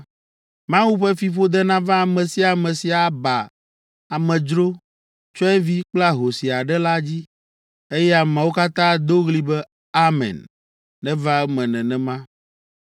“Mawu ƒe fiƒode nava ame sia ame si aba amedzro, tsyɔ̃evi kple ahosi aɖe la dzi.” Eye ameawo katã ado ɣli be, “Amen; neva eme nenema!”